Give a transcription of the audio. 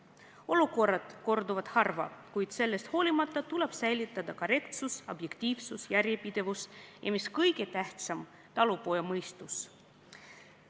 Olukorrad korduvad harva, kuid sellest hoolimata tuleb säilitada korrektsus, objektiivsus, järjepidevus ja – mis kõige tähtsam – talupojamõistus.